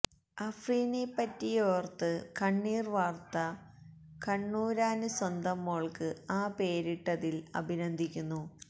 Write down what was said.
അഫ്രീനെപ്പറ്റിയോര്ത്ത് കണ്ണീര് വാര്ത്ത കണ്ണൂരാന് സ്വന്തം മോള്ക്ക് ആ പേരിട്ടതില് അഭിനന്ദിക്കുന്നു